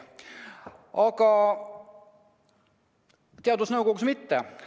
Aga teadusnõukojas nii ei ole.